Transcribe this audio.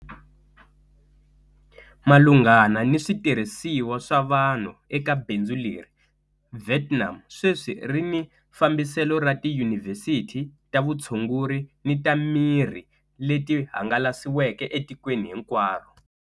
Malunghana ni switirhisiwa swa vanhu eka bindzu leri, Vietnam sweswi ri ni fambiselo ra tiyunivhesiti ta vutshunguri ni ta mirhi leti hangalasiweke etikweni hinkwaro.